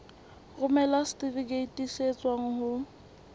romela setifikeiti se tswang ho